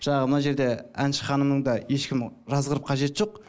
жаңағы мына жерде әнші ханымның да ешкім жазғырып қажеті жоқ